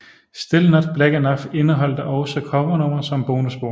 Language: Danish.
Still Not Black Enough indeholdte også covernumre som bonusspor